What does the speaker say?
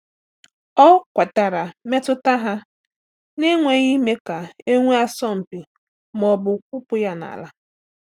Ọ kwetara mmetụta ha n’enweghị ime ka e nwee asọmpi ma ọ bụ kwụpụ ya n’ala.